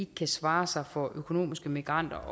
kan svare sig for økonomiske migranter